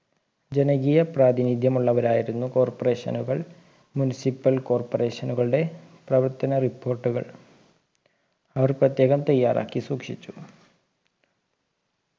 ജനകീയ പ്രാധിനിധ്യമുള്ളവരായിരുന്നു corporation കൾ municipal corporation കളുടെ പ്രവർത്തന report കൾ അവർ പ്രത്യേകം തയ്യാറാക്കി സൂക്ഷിച്ചിരുന്നു